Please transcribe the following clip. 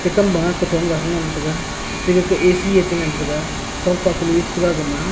ekam ma kuton ga ngan taga ethe A_C ye cha ngan taga chonpa kanu chataga gama.